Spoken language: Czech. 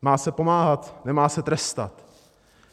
Má se pomáhat, nemá se trestat.